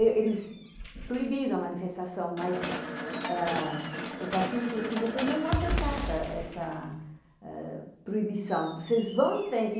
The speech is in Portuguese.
Eles proibiram a manifestação, mas o partido falou assim, vocês não vão aceitar essa proibição, vocês vão em frente.